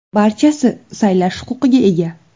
Barchasi saylash huquqiga ega.